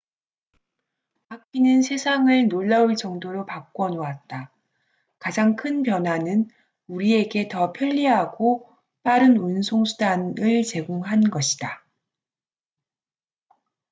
바퀴는 세상을 놀라울 정도로 바꿔놓았다 가장 큰 변화는 우리에게 더 편리하고 빠른 운송수단을 제공한 것이다